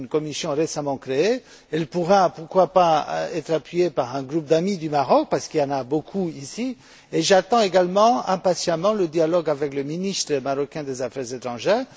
C'est une commission récemment créée qui pourra, pourquoi pas, être appuyée par un groupe d'amis du Maroc parce qu'il y en a beaucoup ici. J'attends également impatiemment le dialogue avec le ministre marocain des affaires étrangères.